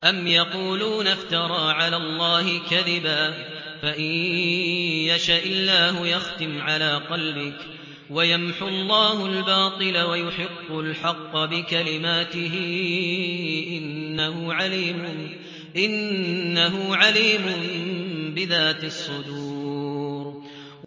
أَمْ يَقُولُونَ افْتَرَىٰ عَلَى اللَّهِ كَذِبًا ۖ فَإِن يَشَإِ اللَّهُ يَخْتِمْ عَلَىٰ قَلْبِكَ ۗ وَيَمْحُ اللَّهُ الْبَاطِلَ وَيُحِقُّ الْحَقَّ بِكَلِمَاتِهِ ۚ إِنَّهُ عَلِيمٌ بِذَاتِ الصُّدُورِ